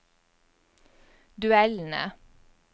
duellene